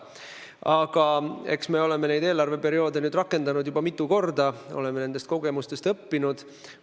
Aga eks me oleme eelarveperioode rakendanud juba mitu korda, oleme nendest kogemustest õppinud.